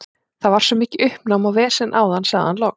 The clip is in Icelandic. Það var svo mikið uppnám og vesen áðan, sagði hann loks.